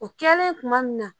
O kɛlen kuma min na